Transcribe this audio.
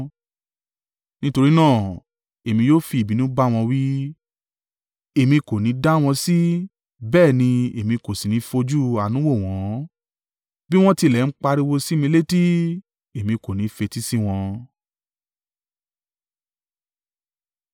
Nítorí náà, èmi yóò fi ìbínú bá wọn wí; èmi kò ní i dá wọn sí bẹ́ẹ̀ ni èmi kò sì ní fojú àánú wò wọ́n. Bí wọ́n tilẹ̀ ń pariwo sí mi létí, èmi kò ní fetí sí wọn.”